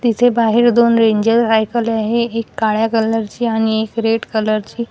तिथे बाहेर दोन रेंजर सायकल आहे एक काळ्या कलर ची आणि एक रेड कलर ची--